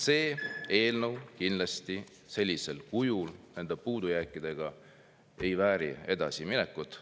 See eelnõu kindlasti sellisel kujul, nende puudujääkidega ei vääri edasiminekut.